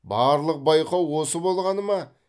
барлық байқау осы болғаны ма